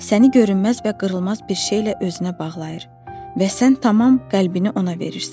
Səni görünməz və qırılmaz bir şeylə özünə bağlayır və sən tamam qəlbini ona verirsən.